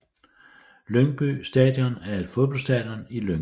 Lyngby Stadion er et fodboldstadion i Lyngby